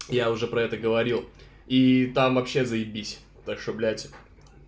я уже про это говорил и там вообще заебись так что блять